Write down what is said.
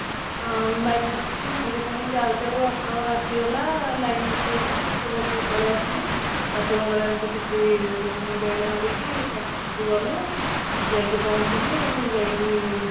ଆଃ bypass ଠିକୀ ସାଙ୍ଗେ ସାଙ୍ଗେ ଯାଉ ଯାଉ auto ଆସିଗଲା line auto ଗୋଟେ ସେଥିରେ ବସିକି ପଳେଇ ଆସିଲୁ ବାଟ ମଙ୍ଗଳା ଠି ସେଠି ମୁଣ୍ଡିଆ ଟି ମାରିକି ତାପରେ ସେଠୁ ଗଲୁ ଯାଇକି ପହଞ୍ଚିଲୁ ଯାଇକି